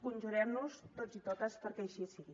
conjurem nos tots i totes perquè així sigui